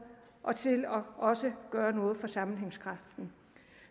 og til også at gøre noget for sammenhængskraften